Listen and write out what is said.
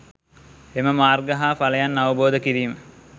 එම මාර්ග හා ඵලයන් අවබෝධ කිරීම